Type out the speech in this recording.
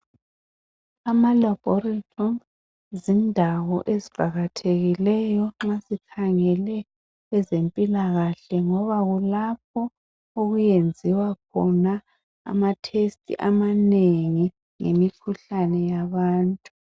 Amalaborithori zindawo eziqakathekileyo nxa sikhangele ezempilakahle ngoba kulapho okweyenziwa khona amathesithi amanengi ngemikhuhlane yabantu.